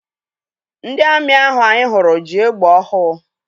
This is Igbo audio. Ndị amị ahụ anyị hụrụ ji egbe ọhụụ.